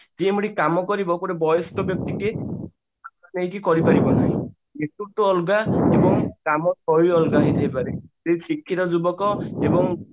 ସିଏ ଯେମତି କାମ କରିବ ଗୋଟେ ବୟସ୍କ ବ୍ୟକ୍ତି ଟିଏ କରି ପାରିବନି କି ଶିକ୍ଷିତ ଯୁବକ ଏବଂ